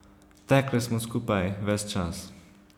Tekle smo skupaj, ves čas.